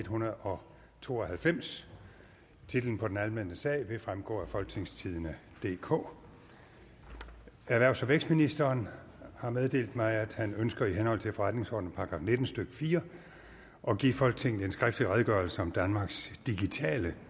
hundrede og to og halvfems titlen på den anmeldte sag vil fremgå af folketingstidende DK erhvervs og vækstministeren har meddelt mig at han ønsker i henhold til forretningsordenens § nitten stykke fire at give folketinget en skriftlig redegørelse om danmarks digitale